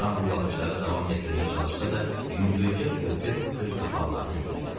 Loran bu baxışları davam gətirməyə çalışsa da, yüngülcə pörtüb göz qapaqlarını endirdi.